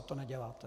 A to neděláte.